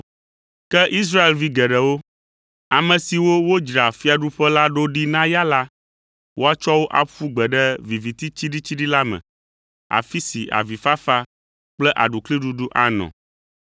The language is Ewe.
Ke Israelvi geɖewo, ame siwo wodzra fiaɖuƒe la ɖo ɖi na ya la, woatsɔ wo aƒu gbe ɖe viviti tsiɖitsiɖi la me, afi si avifafa kple aɖukliɖuɖu anɔ.”